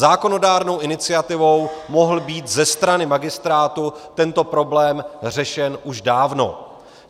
Zákonodárnou iniciativou mohl být ze strany magistrátu tento problém řešen už dávno.